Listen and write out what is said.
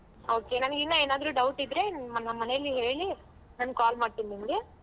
Okay ನನಗ್ ಇನ್ನ ಏನಾದ್ರೂ doubt ಇದ್ರೆ ನಮ್ಮ ಮನೇಲಿ ಹೇಳಿ ನಾನ್ call ಮಾಡ್ತೀನಿ ನಿಮ್ಗೆ.